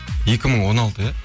екі мың он алты иә